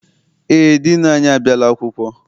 Eé, diinu anyị abịala akwụkwọ.